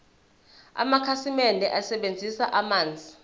amakhasimende asebenzisa amanzi